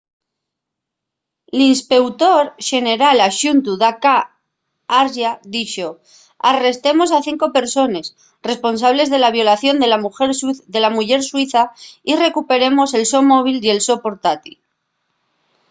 l'inspeutor xeneral axuntu d k arya dixo: arrestemos a cinco persones responsables de la violación de la muyer suiza y recuperemos el so móvil y el so portátil